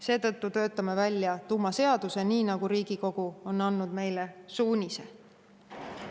Seetõttu töötame välja tuumaseaduse, nii nagu Riigikogu on andnud meile suunise.